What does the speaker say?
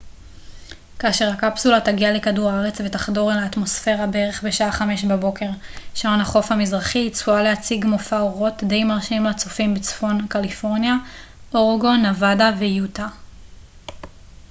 כאשר הקפסולה תגיע לכדור הארץ ותחדור אל האטמוספירה בערך בשעה 5 בבוקר שעון החוף המזרחי היא צפויה להציג מופע אורות די מרשים לצופים בצפון קליפורניה אורגון נבדה ויוטה